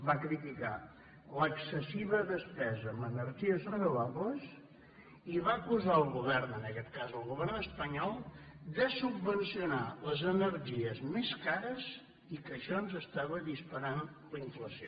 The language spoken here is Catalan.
va criticar l’excessiva despesa en energies renovables i va acusar el govern en aquest cas el govern espanyol de subvencionar les energies més cares i que això ens estava disparant la inflació